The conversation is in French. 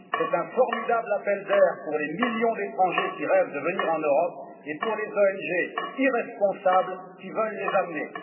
C'est un formidable appel d'air pour les millions d'étrangers qui rêvent de venir en Europe et pour les ONG irresponsables qui veulent les amener.